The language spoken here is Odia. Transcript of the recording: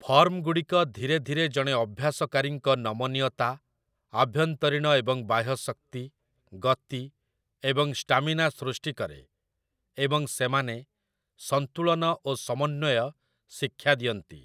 ଫର୍ମଗୁଡ଼ିକ ଧୀରେ ଧୀରେ ଜଣେ ଅଭ୍ୟାସକାରୀଙ୍କ ନମନୀୟତା, ଆଭ୍ୟନ୍ତରୀଣ ଏବଂ ବାହ୍ୟ ଶକ୍ତି, ଗତି, ଏବଂ ଷ୍ଟାମିନା ସୃଷ୍ଟି କରେ, ଏବଂ ସେମାନେ ସନ୍ତୁଳନ ଓ ସମନ୍ୱୟ ଶିକ୍ଷା ଦିଅନ୍ତି ।